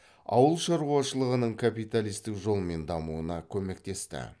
ауыл шаруашылығының капиталистік жолмен дамуына көмектесті